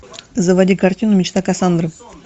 заводи картину мечта кассандры